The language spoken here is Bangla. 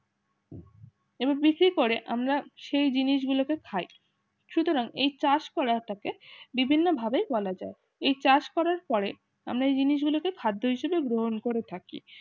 এবিসি করে আমরা সেই জিনিসগুলো কে খাই সুতরাং এই চাষ করার থাকে বিভিন্নভাবে বলা যায় এই চাষ করার পরে আমরা এই জিনিসগুলোকে খাদ্য হিসেবে গ্রহণ করে থাকি